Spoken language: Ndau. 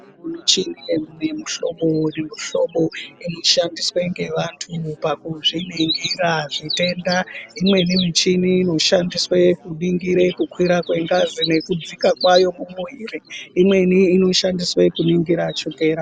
Michinini yemihlobo nemihlobo inoshandiswe ngevantu pakuzviningira zvitenda imweni michini inoshandiswe kuningire kukwira kwengazi nekudzika kwayomumwiri ,imweni inoshandiswe kuningira chokera.